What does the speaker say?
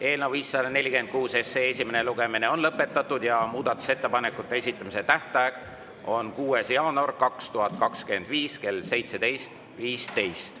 Eelnõu 546 esimene lugemine on lõpetatud ja muudatusettepanekute esitamise tähtaeg on 6. jaanuar 2025 kell 17.15.